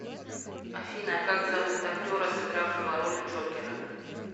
афина как зовут актера сыгравшего роль джокера